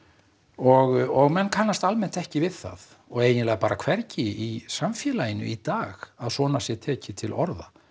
og menn kannast almennt ekki við það og eiginlega bara hvergi í samfélaginu í dag að svona sé tekið til orða